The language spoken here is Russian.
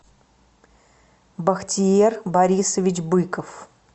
бахтиер борисович быков